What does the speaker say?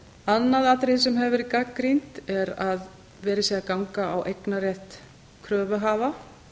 annað atriði sem hefur verið gagnrýnt er að verið sé að ganga á eignarrétt kröfuhafa